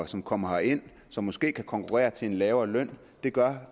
som kommer herind som måske kan konkurrere til lavere løn gør